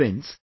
Friends,